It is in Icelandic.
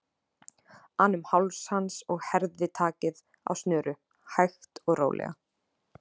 an um háls hans og herði takið eins og snöru, hægt og rólega.